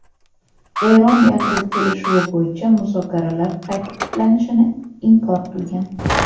Eron yadro kelishuvi bo‘yicha muzokaralar qayta tiklanishini inkor qilgan.